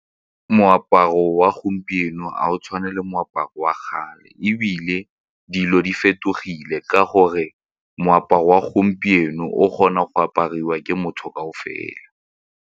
Moaparo wa gompieno ga o tshwane le moaparo wa kgale ebile dilo di fetogile ka gore moaparo wa gompieno o kgona go apariwa ke motho kaofela.